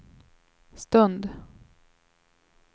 stund